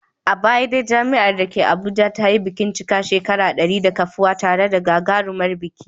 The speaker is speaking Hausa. A baya dai jami'ar da ke Abuja ta yi bikin cika shekaru dari da kafuwa tare da gagarumin biki.